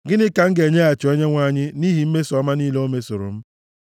Gịnị ka m ga-enyeghachi Onyenwe anyị nʼihi mmeso ọma niile o mesoro m?